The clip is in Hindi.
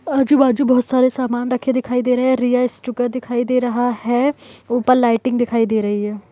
आजु बाजू बहुत सारे सामान रखे दिखाई दे रहे हैं | दिखाई दे रहा है ऊपर लाइटिंग दिखाई दे रही है।